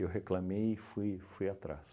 reclamei e fui fui atrás.